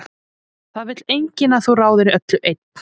Það vill enginn að þú ráðir öllu einn.